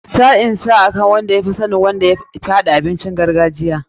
Sa'in san akan wadda ya fi sanin yadda ake dafa abincin gargajiya.